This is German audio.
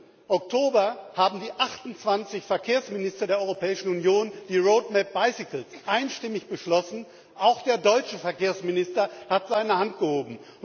8. Oktober haben die 28 Verkehrsminister der Europäischen Union die Roadmap Bicycle einstimmig beschlossen auch der deutsche Verkehrsminister hat seine Hand gehoben.